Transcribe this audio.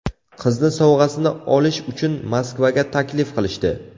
Qizni sovg‘asini olish uchun Moskvaga taklif qilishdi.